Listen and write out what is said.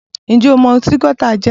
Ǹjẹ́ o mọ ohun tí Gauta jẹ́?...